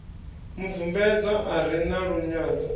mubvumbedzwa a re na lunyadzo